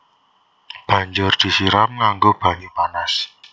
Banjur disiram nganggo banyu panas